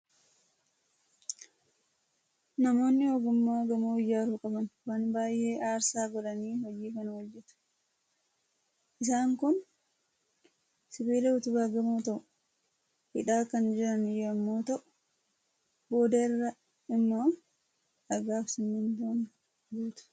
Namoonni ogummaa gamoo ijaaru qaban waan baay'ee aarsaa godhanii hojii kana hojjetu. Isaan kun sibiila utubaa gamoo ta'u hidhaa kan jiran yommuu ta'u, booda irra immoo dhagaa fi simmintoon guutu.